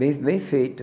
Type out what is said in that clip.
Bem bem feito.